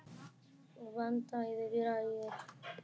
Vantaði græjur?